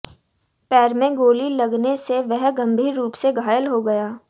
पैर में गोली लगने से वह गंभीर रूप से घायल हो गया